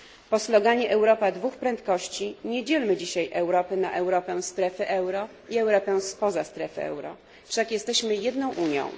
Po sloganie Europa dwóch prędkości nie dzielmy dziś Europy na Europę strefy euro i Europę spoza strefy euro, wszak jesteśmy jedną Unią.